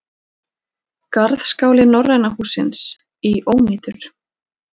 Garðskáli Norræna hússins í ónýtur